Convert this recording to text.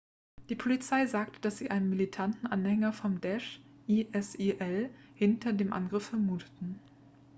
die polizei sagte dass sie einen militanten anhänger von daesh isil hinter dem angriff vermuten